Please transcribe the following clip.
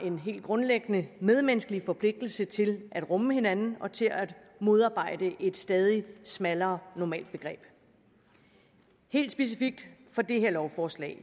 en helt grundlæggende medmenneskelig forpligtelse til at rumme hinanden og til at modarbejde et stadig smallere normalbegreb helt specifikt for det her lovforslag